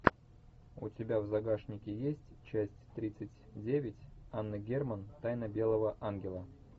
у тебя в загашнике есть часть тридцать девять анна герман тайна белого ангела